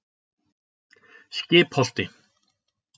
Skipholti